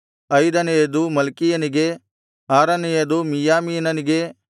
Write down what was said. ಐದನೆಯದು ಮಲ್ಕೀಯನಿಗೆ ಆರನೆಯದು ಮಿಯ್ಯಾಮೀನನಿಗೆ